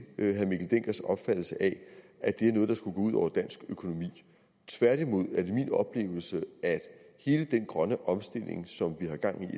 herre mikkel denckers opfattelse af at det er noget der skulle gå ud over dansk økonomi tværtimod er det min oplevelse at hele den grønne omstilling som vi har gang